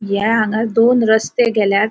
या हांगार दोन रस्ते गेल्यात.